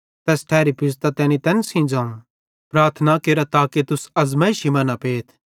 तैस ठैरी पुज़तां तैनी तैन सेइं ज़ोवं प्रार्थना केरा ताके तुस अज़मैइशी मां न पेथ